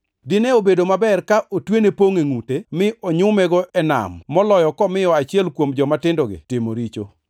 Dine obedo maber ka otwene pongʼ e ngʼute, mi onyumego e nam moloyo komiyo achiel kuom jomatindogi timo richo.